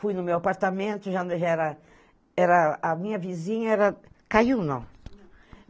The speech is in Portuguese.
Fui no meu apartamento, já era... Era... A minha vizinha era... Caiu, não.